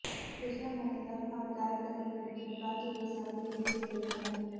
திரிஷா மறுத்ததால் அவர் கேரக்டரில் நடிக்க பிராச்சி தேசாவை முடிவு செய்துள்ளனர்